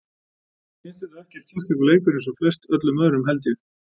Mér fannst þetta ekkert sérstakur leikur eins og flest öllum öðrum held ég.